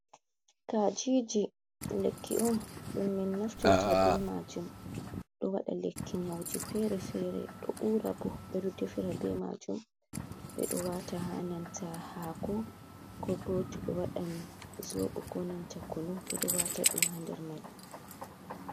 Kajiji lekki on dum min naftirta be majum do wada lekki nyauji fere-fere ,do ura bo, bedo defera be majum be do wata hananta hako, ko boto be wadan zobu ko nanta kunu be do wata dum ha nder mai.